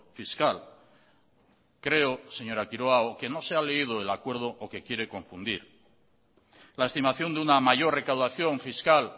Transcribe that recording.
fiscal creo señora quiroga o que no se ha leído el acuerdo o que quiere confundir la estimación de una mayor recaudación fiscal